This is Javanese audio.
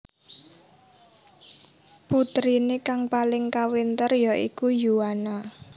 Puterine kang paling kawentar ya iku Yuana